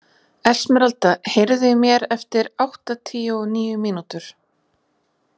Esmeralda, heyrðu í mér eftir áttatíu og níu mínútur.